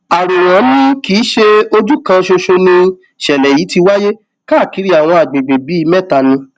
àròwàn ni kì í ṣe ojú kan ṣoṣo nìṣẹlẹ yìí ti wáyé káàkiri àwọn àgbègbè bíi mẹta ni